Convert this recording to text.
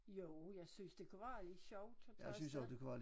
Jo jeg synes det kunne være lidt sjovt at tage afsted